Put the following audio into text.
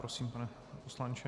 Prosím pane poslanče.